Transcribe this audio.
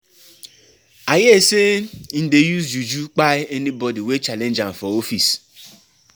I hear sey im dey use juju kpai anybodi wey challenge am for office.